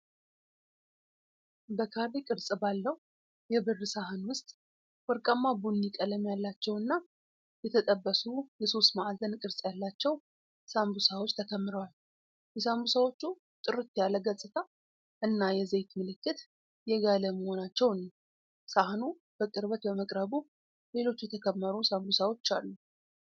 በካሬ ቅርጽ ባለው የብር ሳህን ውስጥ ወርቃማ ቡኒ ቀለም ያላቸውና የተጠበሱ የሦስት ማዕዘን ቅርጽ ያላቸው ስምቡሳዎች ተከምረዋል። የስምቡሳዎቹ ጥርት ያለ ገጽታ እና የዘይት ምልክት የጋለ መሆናቸውን ነው። ሳህኑ በቅርበት በመቅረቡ፣ ሌሎች የተከመሩ ስምቡሳዎች አሉ።